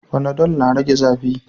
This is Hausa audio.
Fanadol na rage zafi